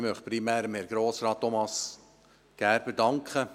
Ich möchte primär Herrn Grossrat Thomas Gerber danken.